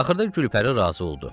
Axırda Gülpəri razı oldu.